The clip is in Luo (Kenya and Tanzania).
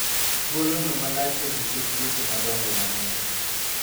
thuolo no malach e nikech weche madongo mang'eny